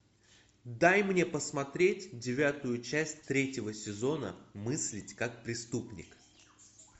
дай мне посмотреть девятую часть третьего сезона мыслить как преступник